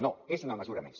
no és una mesura més